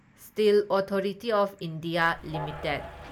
steel authority of India limited